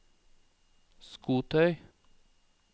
skotøy